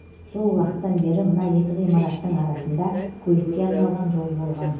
сол уақыттан бері мына екі ғимараттың арасында көлікке арналған жол болған